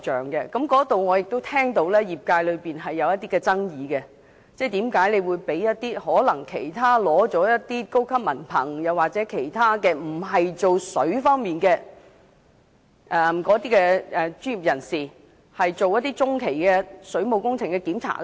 對於這個安排，我聽到業界存在爭議，質疑政府為何委託一些業外取得高級文憑或並非從事水管工作的專業人士進行中期水務工程檢查。